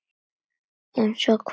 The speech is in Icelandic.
Eins og hvað?